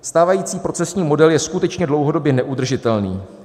Stávající procesní model je skutečně dlouhodobě neudržitelný.